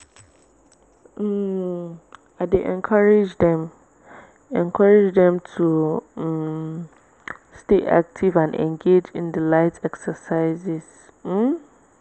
um i dey encourage dem encourage dem to um stay active and engage in the light exercises. um